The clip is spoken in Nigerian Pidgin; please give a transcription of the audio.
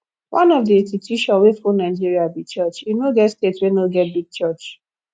one of the institution wey full nigeria be church e no get state wey no get big church